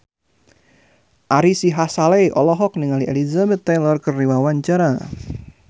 Ari Sihasale olohok ningali Elizabeth Taylor keur diwawancara